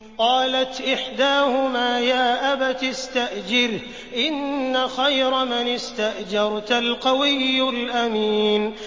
قَالَتْ إِحْدَاهُمَا يَا أَبَتِ اسْتَأْجِرْهُ ۖ إِنَّ خَيْرَ مَنِ اسْتَأْجَرْتَ الْقَوِيُّ الْأَمِينُ